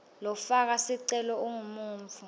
lofaka sicelo ungumuntfu